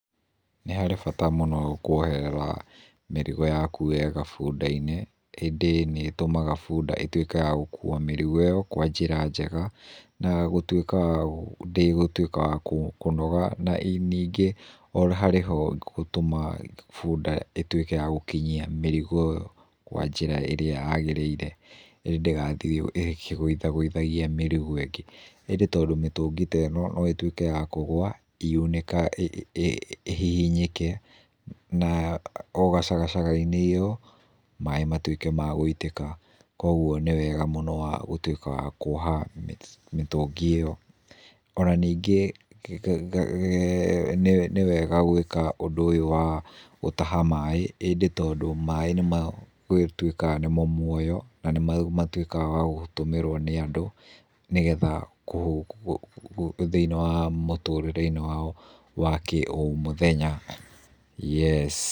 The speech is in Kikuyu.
Nĩ harĩ bata mũno kuoherera mĩrigo yaku wega bunda-inĩ ĩndĩ nĩ ĩtũmaga bunda ĩtuĩke ya gũkuua mĩrigo ĩyo kwa njĩra njega na gũtuĩka ndĩgũtuĩka ya kũnoga, na ningĩ o na harĩ ho gũtuma bunda ĩtuĩke ya gũkinyia mĩrigo ĩyo kwa njĩra ĩrĩa yagĩrĩire, ndĩgathiĩ ĩkĩgũithagũithagia mĩrigo ĩngĩ, ĩndĩ tondũ mĩtũngi ta ĩno no ĩtuĩke ya kũgũa ĩhihinyĩke na o gacagaca-inĩ ĩyo, maaĩ matuĩke ma gũitĩka kogwo nĩwega mũno gũtuĩka wa kuoha mĩtũngi ĩyo, ona ningĩ nĩwega gũĩka ũndũ ũyũ wa gũtaha maaĩ ĩndĩ tondũ maaĩ gũtuĩkaga nĩmo muoyo na nĩmatuĩkaga ma gũtũmĩrwo nĩ andũ thĩiniĩ wa mũtũrĩre wao wa kĩũmũthenya, yes.